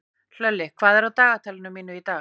Hlölli, hvað er á dagatalinu mínu í dag?